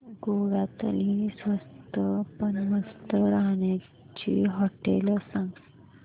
गोव्यातली स्वस्त पण मस्त राहण्याची होटेलं सांग